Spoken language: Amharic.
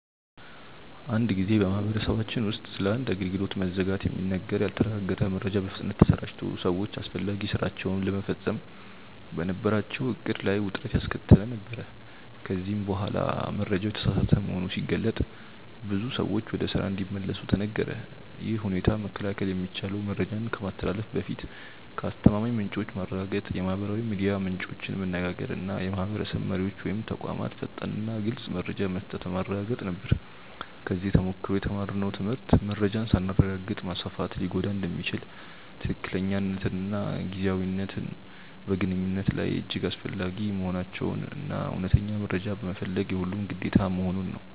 አንድ ጊዜ በማህበረሰባችን ውስጥ ስለ አንድ አገልግሎት መዘጋት የሚነገር ያልተረጋገጠ መረጃ በፍጥነት ተሰራጭቶ ሰዎች አስፈላጊ ሥራቸውን ለመፈጸም በነበራቸው ዕቅድ ላይ ውጥረት ያስከተለ ነበር፤ ከዚያ በኋላ መረጃው የተሳሳተ መሆኑ ሲገለጥ ብዙ ሰዎች ወደ ስራ እንዲመለሱ ተነገረ። ይህን ሁኔታ መከላከል የሚቻለው መረጃን ከማስተላለፍ በፊት ከአስተማማኝ ምንጮች ማረጋገጥ፣ የማህበራዊ ሚዲያ ምንጮችን መነጋገር እና የማህበረሰብ መሪዎች ወይም ተቋማት ፈጣንና ግልፅ መረጃ መስጠት በማረጋገጥ ነበር። ከዚህ ተሞክሮ የተማርነው ትምህርት መረጃን ሳናረጋግጥ ማስፋፋት ሊጎዳ እንደሚችል፣ ትክክለኛነትና ጊዜያዊነት በግንኙነት ላይ እጅግ አስፈላጊ መሆናቸውን እና እውነተኛ መረጃ መፈለግ የሁሉም ግዴታ መሆኑን ነው።